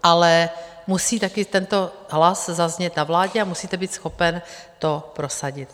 Ale musí také tento hlas zaznít na vládě a musíte být schopen to prosadit.